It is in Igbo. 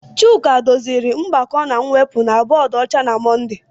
Chuka doziri mgbakọ na mwepụ na bọọdụ ọcha na Mọnde.